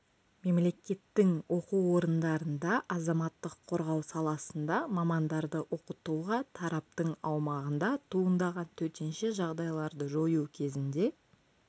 мемлекеттің оқу орындарында азаматтық қорғау саласында мамандарды оқытуға тараптың аумағында туындаған төтенше жағдайларды жою кезінде